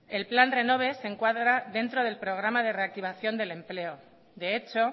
el plan renove se encuadra dentro del programa de reactivación del empleo de hecho